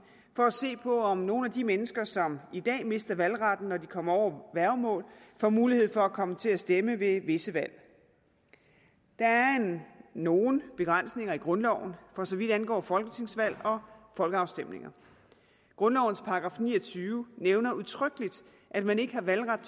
for at se på om nogle af de mennesker som i dag mister valgretten når de kommer under værgemål får mulighed for at komme til at stemme ved visse valg der er nogle begrænsninger i grundloven for så vidt angår folketingsvalg og folkeafstemninger grundlovens § ni og tyve nævner udtrykkeligt at man ikke har valgret